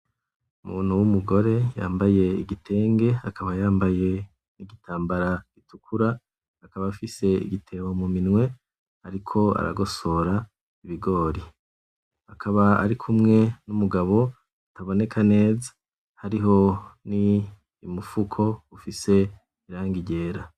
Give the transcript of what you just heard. Umuntu w'umugore yambaye igitenge akaba yambaye n'igitambara gitukura, akaba afise igitebo muminwe ariko aragosora ibigori. Akaba arikumwe n'umugabo ataboneka neza, hariho n'umufuko ufise irangi ryera.